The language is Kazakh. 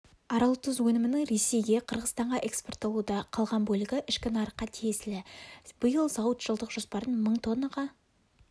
аралтұз өнімінің ресейге қырғызстанға экспортталуда қалған бөлігі ішкі нарыққа тиесілі биыл зауыт жылдық жоспарын мың тоннаға